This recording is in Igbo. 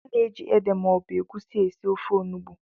A na-eji ede maọbụ egusi esi ofe onugbu